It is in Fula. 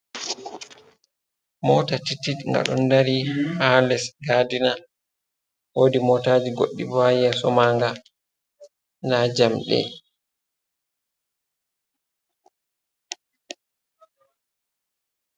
Mota titit ga ɗon dari ha les gadina, wodi motaji goɗɗi bo ha yeso ma nga nda jamɗe.